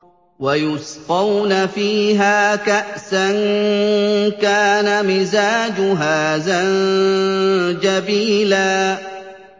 وَيُسْقَوْنَ فِيهَا كَأْسًا كَانَ مِزَاجُهَا زَنجَبِيلًا